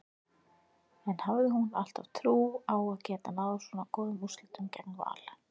En hafði hún alltaf trú á að geta náð svo góðum úrslitum gegn Val?